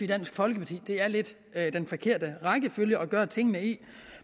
dansk folkeparti lidt er i den forkerte rækkefølge at gøre tingene